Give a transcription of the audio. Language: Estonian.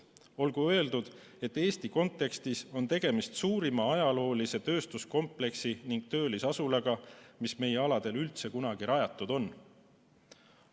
Olgu öeldud, et Eesti kontekstis on tegemist suurima ajaloolise tööstuskompleksi ning töölisasulaga, mis meie aladel üldse kunagi rajatud on.